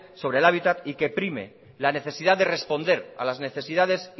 sobre el hábitat y que prime la necesidad de responder a las necesidades